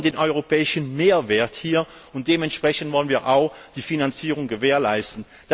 Wir wollen hier den europäischen Mehrwert, und dementsprechend wollen wir auch die Finanzierung gewährleisten.